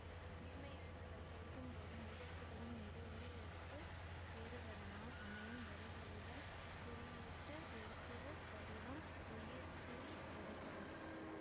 உயிர்மெய் எழுத்துக்களை எழுதும் போது மெய்யெழுத்துக்களின் மீது உயிர் எழுத்து ஏறுவதனால் அமையும் வரிவடிவக் குறியீட்டு எழுத்துரு வடிவம் உயிர்க்குறி எனப்படும்